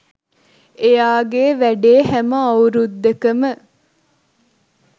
එයාගේ වැඩේ හැම අවුරුද්දකම